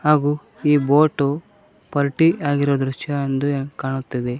ಹಾಗು ಈ ಬೋಟು ಪಲ್ಟಿ ಆಗಿರೋ ದೃಶ್ಯ ಎಂದು ಕಾಣುತ್ತದೆ